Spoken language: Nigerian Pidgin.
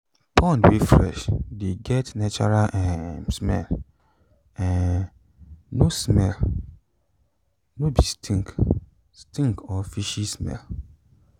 pond wey fresh de get natural um smell um no smell um no be stink stink or fishy smell